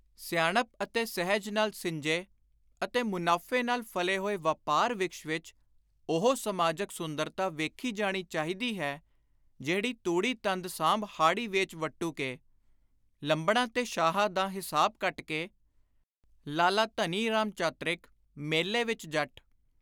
ਸਿਆਣਪ ਅਤੇ ਸਹਿਜ ਨਾਲ ਸਿੰਜੇ ਅਤੇ ਮੁਨਾਫ਼ੇ ਨਾਲ ਫ਼ਲੇ ਹੋਏ ਵਾਪਾਰ-ਵਿ੍ਕਸ਼ ਵਿਚ ਉਹੋ ਸਮਾਜਕ ਸੁੰਦਰਤਾ ਵੇਖੀ ਜਾਣੀ ਚਾਹੀਦੀ ਹੈ, ਜਿਹੜੀ : ਤੂੜੀ ਤੰਦ ਸਾਂਭ ਹਾੜੀ ਵੇਚ ਵੱਟੂ ਕੇ, ਲੰਬੜਾਂ ਤੇ ਸ਼ਾਹਾਂ ਦਾ ਹਿਸਾਬ ਕੱਟ ਕੇ, (ਲਾਲਾ ਧਨੀ ਰਾਮ ਚਾਤ੍ਰਿਕ, 'ਮੇਲੇ ਵਿੱਚ ਜੱਟ)